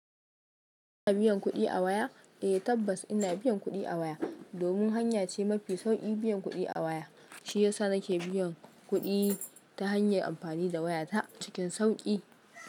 Ina biyan kuɗi a waya? Eh tabbas ina biyan kuɗi a waya domin hanya ce mafi sauƙi biyan kuɗi a waya shiyasa nake biyan kuɗi ta hanyar amfani da waya ta cikin sauƙi.